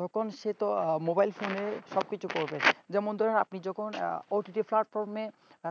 তখন সে তো mobile phone সবকিছু করবে, যেমন ধরেন আপনি যখন ott platform